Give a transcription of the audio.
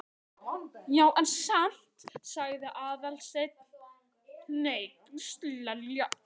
Já, en samt sagði Aðalsteinn hneykslaður.